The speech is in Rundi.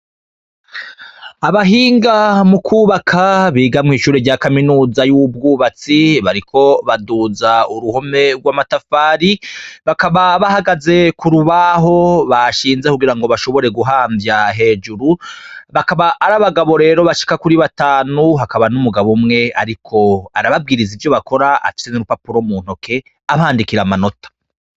Abahinga mu kwubaka biga mw'ishure rya Kaminuza y'ubw'ubatsi, bariko baduza uruhome rw'amatafari, bakaba bahagaze k'urubaho bashinze kugira ngo bashobore guhamvya hejuru. Bakaba ari abagabo rero bashika kuri batanu, hakaba n'umugabo umwe ariko arababwiriza ivyo bakora, afise n'urupapuro mu ntoke, abandikira amanota.